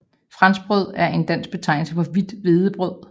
Franskbrød er en dansk betegnelse for hvidt hvedebrød